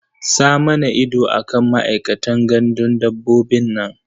Sa mana ido a kan ma'aikatan gandun dabbobin nan.